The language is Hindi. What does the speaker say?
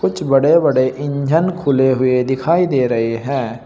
कुछ बड़े बड़े इंजन खुले हुए दिखाई दे रहे हैं।